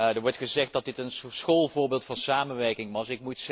Er wordt gezegd dat dit een schoolvoorbeeld van samenwerking was.